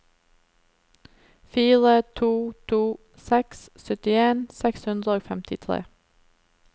fire to to seks syttien seks hundre og femtitre